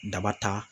Daba ta